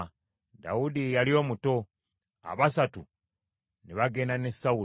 Dawudi ye yali omuto. Abasatu ne bagenda ne Sawulo,